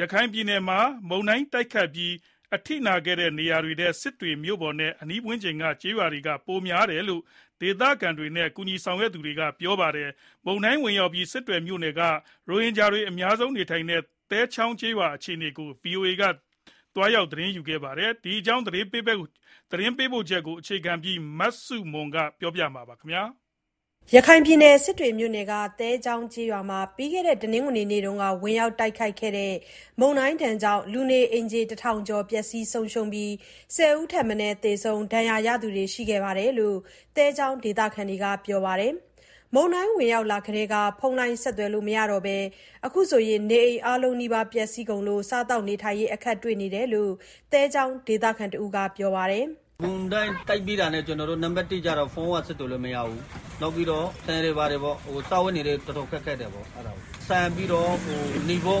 ရခိုင်ပြည်နယ်မှာ မုန်တိုင်းတိုက်ခတ်ပြီး အထိနာခဲ့တဲ့ နေရာတွေထဲ စစ်တွေမြို့ပေါ်နဲ့ အနီးဝန်းကျင်က ကျေးရွာတွေမှာ ပိုများခဲ့တယ်လို့ ဒေသခံတွေနဲ့ ကူညီဆောင်ရွက် နေသူတွေက ပြောပါတယ်။ မုန်တိုင်းဝင်ရောက်ပြီး စစ်တွေမြို့နယ်က ရိုဟင်ဂျာတွေ အများစုနေထိုင်တဲ့ သဲချောင်းကျေးရွာ အခြေအနေကို VOA က သွားရောက် သတင်းယူထားပါတယ်။ ဒီအကြောင်း သတင်းပေးပို့ချက်ကို အခြေခံပြီး မဆုမွန်က ပြောပြမှာပါ။ ရခိုင်ပြည်နယ်၊ စစ်တွေမြို့နယ်က သဲချောင်းကျေးရွာမှာ ပြီးခဲ့တဲ့ တနင်္ဂနွေနေ့တုန်းက ဝင်ရောက်ခဲ့တဲ့ မုန်တိုင်းကြောင့် လူနေအိမ်ခြေ တထောင်ကျော် ပျက်စီးသွားသလို၊ ၁၀ ဦးထက်မနည်း သေဆုံးပြီး၊ ဒဏ်ရာရသူတွေလည်း ရှိခဲ့တယ်လို့ သဲချောင်းဒေသခံတွေက ပြောပါတယ်။ မုန်တိုင်းဝင်ရောက်ကတည်းက ဖုန်းလိုင်း ဆက်သွယ်လို့ မရတော့ဘဲ၊ အခု နေအိမ်အားလုံးနီးပါး ပျက်စီးကုန်လို့ စားသောက်နေထိုင်ရေး အခက်တွေ့နေတယ်လို့ သဲချောင်းဒေသခံ တဦးက ပြောပါတယ်။ "မုန်တိုင်း တိုက်ပြီးတာနဲ့ ကျနော်တို့ ဖုန်းလုံးဝ ဆက်သွယ်လို့ မရတော့ဘူး။ နောက်ပြီးတော့ စားဝတ်နေရေး တော်တော်ခက်ခဲတယ်။ တာလဘတ်တွေ၊ နေဖို့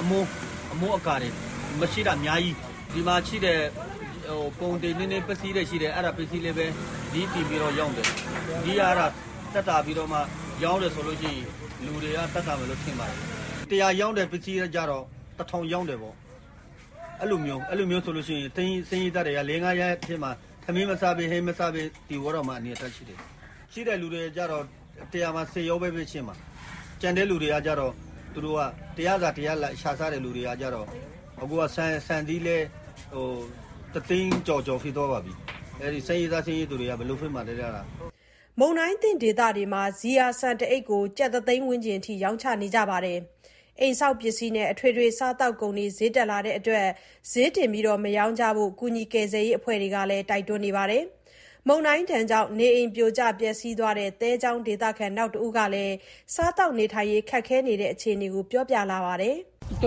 အမိုးအကာတွေ မရှိတဲ့လူတွေ အများကြီးပဲ။ ဒီမှာရှိတဲ့ ကုန်ပစ္စည်းတွေလည်း စျေးတင်ပြီးတော့ ရောင်းတယ်။ စျေးသက်သာမယ်ဆိုရင် လူတွေလည်း သက်သာမယ် ထင်ပါတယ်။ ၁၀၀ ရောင်းတဲ့ပစ္စည်းကို ၁,၀၀၀ ရောင်းတာပေါ့။ အဲလိုဆိုတော့ ဆင်းရဲသားတွေက ထမင်းမစား၊ ဟင်းမစားဘဲ နေရမယ့် အနေအထားရှိတယ်။ ရှိတဲ့လူဆိုတာ ၁၀၀ မှာ ၁၀ ယောက်လောက်ပဲရှိတာ။ ကျန်တဲ့လူတွေက တရက်စာ တရက်ရှာစားတဲ့ လူတွေဆိုတော့ ဆန်စျေးလည်း အခုက တသိန်းကျော် ရှိသွားပါပြီ။ ဆင်းရဲသား၊ ဆင်းရဲသူတွေက ဘယ်လိုလုပ်မှာလဲဗျာ။" မုန်တိုင်းသင့်ဒေသတွေမှာ ဇီယာဆန်တအိတ်ကို ကျပ်တသိန်း ဝန်းကျင်အထိ ရောင်းချနေကြတာပါ။ အိမ်ဆောက်ပစ္စည်းနဲ့ အထွေထွေ စားသောက်ကုန်တွေ စျေးတက်လာတဲ့အတွက် စျေးတင်ပြီး မရောင်းကြဖို့ ကူညီကယ်ဆယ်ရေး အဖွဲ့တွေကလည်း တိုက်တွန်းနေပါတယ်။ မုန်တိုင်းဒဏ်ကြောင့် နေအိမ်ပြိုကျ ပျက်စီးသွားတဲ့ သဲချောင်းဒေသခံ နောက်တဦးကလည်း စားသောက်ရေး ခက်ခဲနေတဲ့ အခြေအနေကို ပြောပြလာပါတယ်။ "ကျ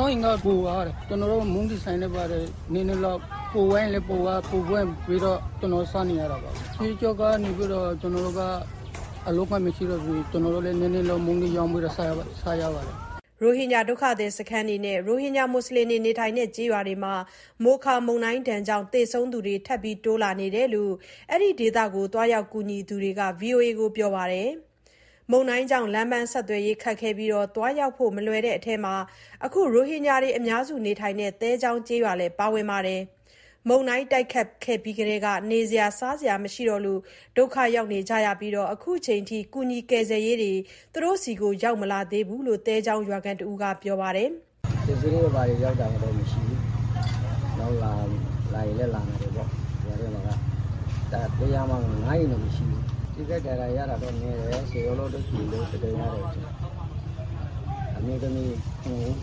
နော့်အိမ်က ပြိုသွားတယ်။ အခုက မုန့်တီဆိုင်လေး နည်းနည်းလောက်နဲ့ ပိုသွားရင်လည်း ပိုသွားတဲ့ဟာပဲ ကျနော်တို့ စားနေရတာပါပဲ။ ရှေ့ဆက်လည်း အလုပ်က မရှိတော့ဘူးဆိုတော့ ကျနော်တို့လည်း မုန့်လေးနည်းနည်းလုပ်၊ နည်းနည်းရောင်းပြီးတော့ စားရမှာပဲ။" ရိုဟင်ဂျာဒုက္ခသည် စခန်းတွေနဲ့ ရိုဟင်ဂျာတွေနေထိုင်တဲ့ ကျေးရွာတွေမှာ မိုခါ မုန်တိုင်းကြောင့် သေဆုံးသူတွေ ထပ်တိုးလာနေတယ်လို့ အဲဒီဒေသကို သွားရောက်ကူညီသူတွေက VOA ကိုပြောကြပါတယ်။ မုန်တိုင်းကြောင့် လမ်းပန်းဆက်သွယ်ရေး ခက်ခဲပြီး သွားရောက်ဖို့ မလွယ်တဲ့အထဲမှာ အခု ရိုဟင်ဂျာတွေအများစု နေထိုင်တဲ့ သဲချောင်းကျေးရွာလည်း ပါဝင်ပါတယ်။ မုန်တိုင်းပြီးကတည်းက နေစရာ၊ စားစရာ မရှိတော့လို့ ဒုက္ခရောက်နေကြပြီး အခုချိန်ထိတော့ ကူညီကယ်ဆယ်ရေးတွေ သူတို့ဆီ ရောက်မလာသေးဘူးလို့ သဲချောင်းရွာခံတဦးက ပြောပါတယ်။ "ပစ္စည်းတွေဘာတွေ ရောက်လာတာတော့ မရှိဘူး။ လာရင်လည်း လာနိုင်တယ်ပေါ့။ ရွာထဲမှာက ၁၀၀ မှာ ၅ အိမ်တောင် မရှိတော့ဘူး။ ထိခိုက်ဒဏ်ရာ ရတာတော့နည်းတယ်။ သေဆုံးသူ ၁၀ ယောက်လောက် ရှိတယ်လို့ သတင်းရတယ်။ အမျိုးသမီး ၇ ဦးနဲ့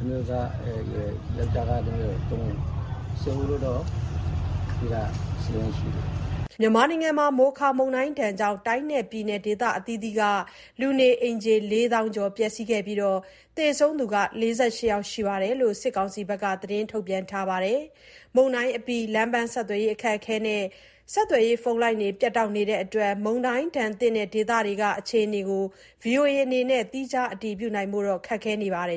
အမျိုးသားက ၃ ဦးပါ။ သေတာ ၁၀ ဦးရှိတယ်။" မြန်မာနိုင်ငံမှာ မိုခါ မုန်တိုင်းကြောင့် တိုင်းနဲ့ပြည်နယ် ဒေသအသီးသီးက လူနေအိမ်ခြေ ၄ သောင်းကျော် ပျက်စီးခဲ့ပြီး၊ သေဆုံးသူ ၄၈ ယောက် ရှိတယ်လို့ စစ်ကောင်စီက သတင်းထုတ်ပြန်ထားပါတယ်။ မုန်တိုင်းအပြီး လမ်းပန်းဆက်သွယ်ရေး အခက်အခဲနဲ့ ဖုန်းလိုင်းတွေ ပြတ်တောက်နေလို့ မုန်တိုင်းဒဏ်သင့် ဒေသတွေက အခြေအနေကို VOA အနေနဲ့ သီးခြားအတည်ပြုနိုင်ဖို့ ခက်ခဲနေပါတယ်